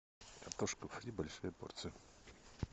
картошку фри большую порцию